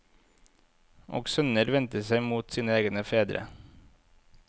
Og sønner vendte seg mot sine egne fedre.